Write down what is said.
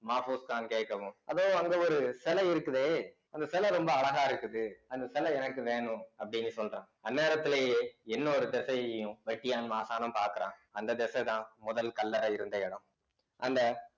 மாபோஸ்கான் கேக்கவு அதோ அங்கே ஒரு சில இருக்குதே அந்த சில ரொம்ப அழகா இருக்குது அந்த சில எனக்கு வேணும் அப்படின்னு சொல்றான் அந்நேரத்திலேயே இன்னொரு திசையையும் வெட்டியான் மாசாணம் பாக்குறான் அந்த திசை தான் முதல் கல்லறை இருந்த இடம் அந்த